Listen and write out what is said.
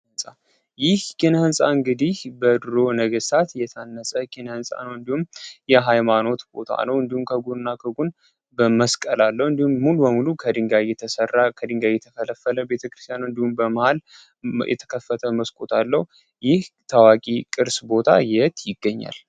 ኪነ ህንፃ ይህ ኪነ ህንፃ እንግዲህ በድሮ ሰዎች የታነፀ ነው ይህም ከጎንና ከጎን መስቀል አለው ይህም ሙሉ ለሙሉ ከድንጋይ የተፈለፈ መስኮት አለው።